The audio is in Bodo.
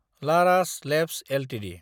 Laurus labs Ltd